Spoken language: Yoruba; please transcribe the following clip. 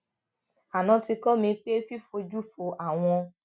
aná ti kó mi pé fífojú fo àwọn